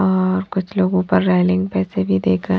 और कुछ लोग ऊपर रेलिंग पैसे भी देख--